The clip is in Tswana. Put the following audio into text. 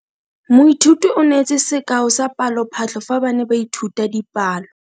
Moithuti o neetse sekao sa palophatlo fa ba ne ba ithuta dipalo.